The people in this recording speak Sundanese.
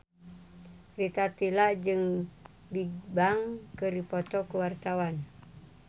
Rita Tila jeung Bigbang keur dipoto ku wartawan